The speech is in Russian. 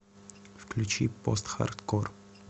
включи постхардкор